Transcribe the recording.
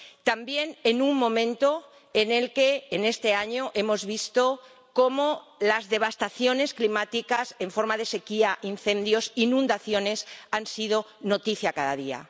También en un momento como este año, en el que hemos visto cómo las devastaciones climáticas en forma de sequía, incendios, inundaciones han sido noticia cada día.